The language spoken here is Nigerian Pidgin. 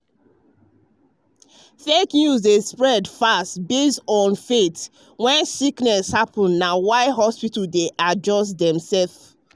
fake news dey spread fast based on faith when sickness happen na why hospitals dey adjust dem ways.